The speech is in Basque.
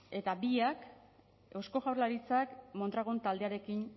eta biak eusko jaurlaritzak mondragon taldearekin